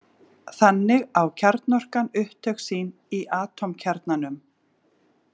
Þannig á kjarnorkan upptök sín í atómkjarnanum.